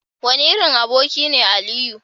wane irin aboki ne Aliyu?